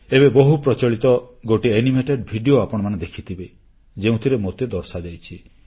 ଏବେ ବହୁ ପ୍ରଚଳିତ ଗୋଟିଏ ଆନିମେଟେଡ୍ ଭିଡିଓ ଆପଣମାନେ ଦେଖିଥିବେ ଯେଉଁଥିରେ ମୋତେ ଦର୍ଶାଯାଇଛି